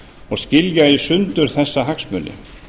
og skilja í sundur þessa hagsmuni